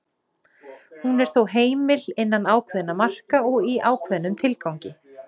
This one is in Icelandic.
Hún er þó heimil innan ákveðinna marka og í ákveðnum tilgangi.